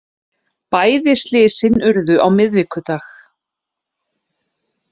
Bæði slysin urðu á miðvikudag